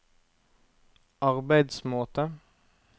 arbeidsmåte